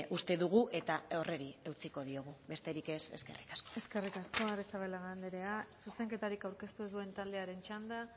uste dugu eta horri eutsiko diogu besterik ez eskerrik asko eskerrik asko arrizabalaga anderea zuzenketarik aurkeztu ez duen taldearen txanda